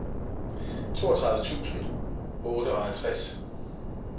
toogtredive tusind og otteoghalvtreds